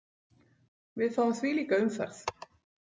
Við fáum þvílíka umferð.